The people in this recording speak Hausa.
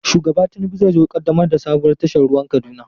Shugaba Tinubu zai zo ƙaddamar da sabuwar tashar ruwan Kaduna.